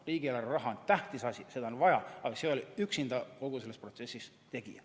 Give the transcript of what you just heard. Riigieelarve raha on tähtis asi, seda on vaja, aga see ei ole üksinda kogu selles protsessis tegija.